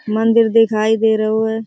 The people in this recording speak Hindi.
मंदिर दिखाई दे रहो है।